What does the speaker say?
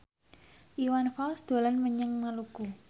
Iwan Fals dolan menyang Maluku